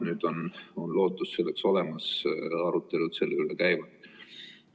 Nüüd on lootus selleks olemas, arutelud selle üle käivad.